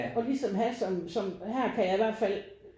Og ligesom have som som her kan jeg i hvert fald